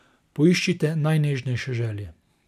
Poiščite najnežnejše želje.